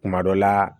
Kuma dɔ la